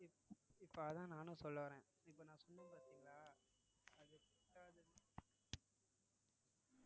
இப்~ இப்ப அதான் நானும் சொல்ல வரேன் இப்ப நான் சொன்ன பாத்திங்களா அது கூட